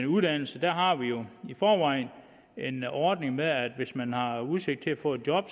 uddannelse har vi jo i forvejen en ordning med at hvis man har udsigt til at få et job